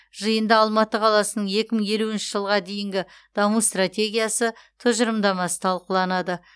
жиында алматы қаласының екі мың елуінші жылға дейінгі даму стратегиясы тұжырымдамасы талқыланады